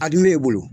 A dun m'e bolo